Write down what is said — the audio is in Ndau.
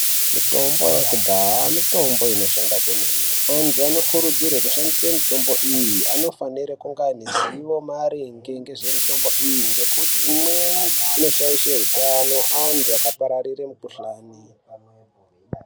Mitombo yekudhaya mitombo inoshanda kwemene antu anokurudzirwa kushandisa mitombo iyi anofanirwa kunge aneruzivo maringe nezvemutambo iyi ngekuti imweni inoshaishe hutano antu akapararire mukuhlani.